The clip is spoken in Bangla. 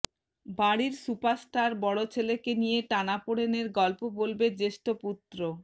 বাড়ির সুপারস্টার বড় ছেলেকে নিয়ে টানা পোড়েনের গল্প বলবে জ্যেষ্ঠ পুত্র